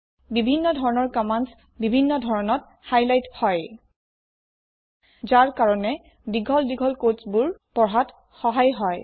বিভিন্ন ধৰণৰ কম্মান্দ বিভিন্ন ধৰণত হাইলাইট হয় যি কাৰণে দীঘল দীঘল কোড পঢ়াত সহায় হয়